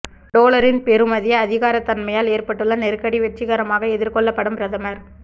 டொலரின் பெறுமதி அதிகரித்தமையால் ஏற்பட்டுள்ள நெருக்கடி வெற்றிகரமாக எதிர்கொள்ளப்படும் பிரதமர்